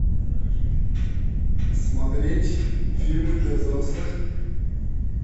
смотреть фильмы для взрослых